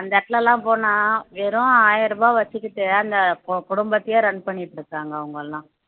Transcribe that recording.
அந்த இடத்துல எல்லாம் போனா வெறும் ஆயிரம் ரூபாய் வச்சுக்கிட்டு அந்த கு குடும்பத்தையே run பண்ணிட்டு இருக்காங்க அவங்க எல்லாம்